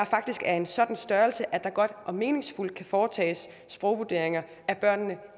faktisk er af en sådan størrelse at der godt og meningsfuldt kan foretages sprogvurderinger af børnene